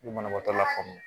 U bɛ banabaatɔ lafaamuya